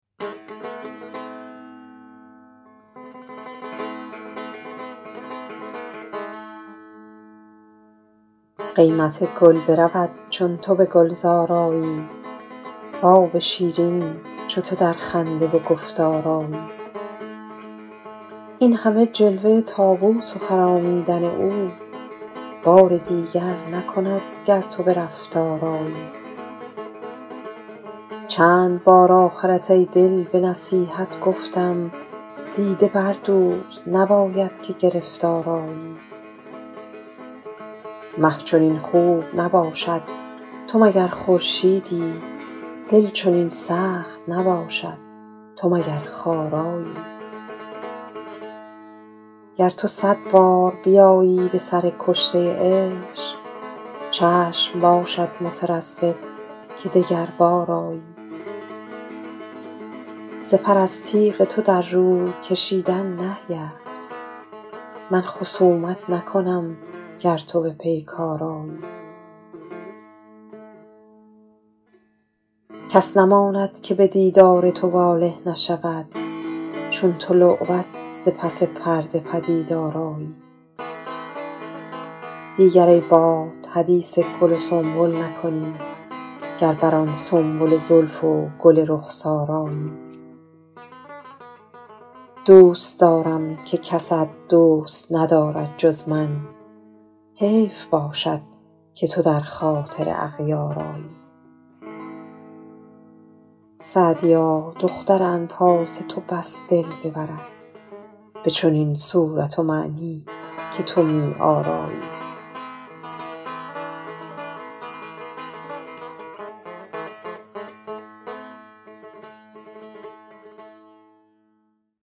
قیمت گل برود چون تو به گلزار آیی و آب شیرین چو تو در خنده و گفتار آیی این همه جلوه طاووس و خرامیدن او بار دیگر نکند گر تو به رفتار آیی چند بار آخرت ای دل به نصیحت گفتم دیده بردوز نباید که گرفتار آیی مه چنین خوب نباشد تو مگر خورشیدی دل چنین سخت نباشد تو مگر خارایی گر تو صد بار بیایی به سر کشته عشق چشم باشد مترصد که دگربار آیی سپر از تیغ تو در روی کشیدن نهی است من خصومت نکنم گر تو به پیکار آیی کس نماند که به دیدار تو واله نشود چون تو لعبت ز پس پرده پدیدار آیی دیگر ای باد حدیث گل و سنبل نکنی گر بر آن سنبل زلف و گل رخسار آیی دوست دارم که کست دوست ندارد جز من حیف باشد که تو در خاطر اغیار آیی سعدیا دختر انفاس تو بس دل ببرد به چنین صورت و معنی که تو می آرایی